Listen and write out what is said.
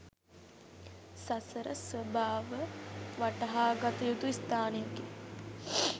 සසර ස්වභාව වටහාගත යුතු ස්ථානයෙකි.